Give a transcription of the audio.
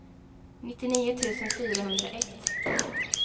nittionio tusen fyrahundraett